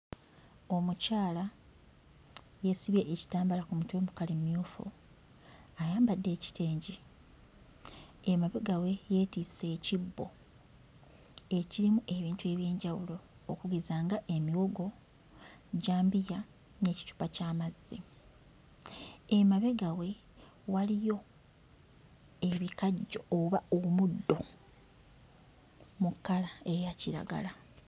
Omukyala yeesibye ekitambaala ku mutwe mu kkala emmyufu, ayambadde ekitengi. Emabega we yeetisse ekibbo ekirimu ebintu eby'enjawulo okugeza nga emiwongo, jjambiya n'ekicupa ky'amazzi. Emabega we waliyo ebikajjo oba omuddo mu kkala eya kiragala.